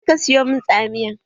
Je ka siyo min tsamiya!